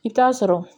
I bɛ taa sɔrɔ